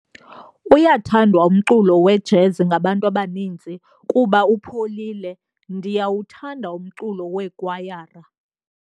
Uyathandwa umculo wejezi ngabantu abaninzi kuba upholile. ndiyawuthanda umculo weekwayara